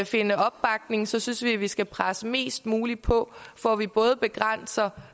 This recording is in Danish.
finde opbakning så synes vi at vi skal presse mest muligt på for at vi både begrænser